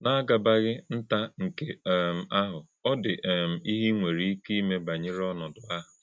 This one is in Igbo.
N’àgàbàghị̄ ntà nkè um àhụ̄, ọ dị um íhè̄ í nwere íké ímè̄ bányèrè ònòdò̄ àhụ̄.